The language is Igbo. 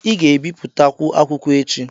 Ị ga-ebipụtakwu akwụkwọ echi.